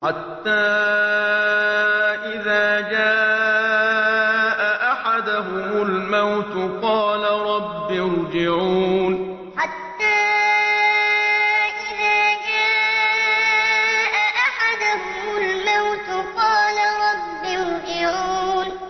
حَتَّىٰ إِذَا جَاءَ أَحَدَهُمُ الْمَوْتُ قَالَ رَبِّ ارْجِعُونِ حَتَّىٰ إِذَا جَاءَ أَحَدَهُمُ الْمَوْتُ قَالَ رَبِّ ارْجِعُونِ